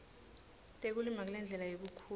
tekulima kulendlela yekukhula